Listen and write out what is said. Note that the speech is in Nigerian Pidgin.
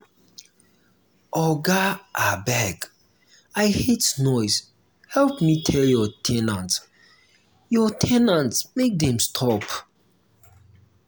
oga abeg um i hate noise help me tell your ten ants your ten ants um make dem stop